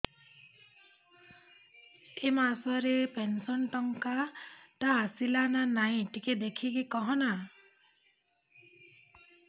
ଏ ମାସ ରେ ପେନସନ ଟଙ୍କା ଟା ଆସଲା ନା ନାଇଁ ଟିକେ ଦେଖିକି କହନା